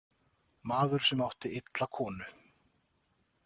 Maður sem átti illa konu.